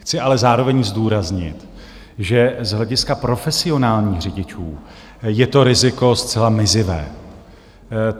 Chci ale zároveň zdůraznit, že z hlediska profesionálních řidičů je to riziko zcela mizivé.